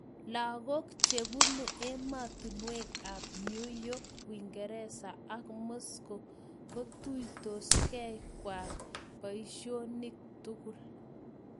Lakok chebunu ematunwek ab New york, uingereza ak moscow kotuitoskei kwai boishonik tugul.